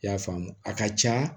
I y'a faamu a ka ca